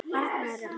Arnarsmára